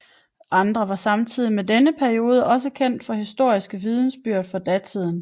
Andre var samtidige med denne periode og er også kendt fra historiske vidnesbyrd fra datiden